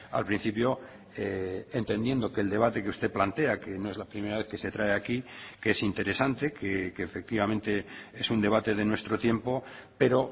al principio entendiendo que el debate que usted plantea que no es la primera vez que se trae aquí que es interesante que efectivamente es un debate de nuestro tiempo pero